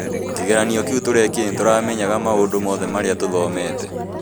Kĩgeranio kĩũ turekire nĩtũramenyire maũndũ moothe marĩa tũthomete